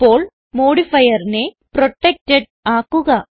ഇപ്പോൾ modifierനെ പ്രൊട്ടക്ടഡ് ആക്കുക